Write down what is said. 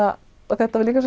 þetta var líka